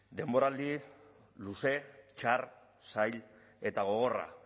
denboraldi luze txar zail eta gogorra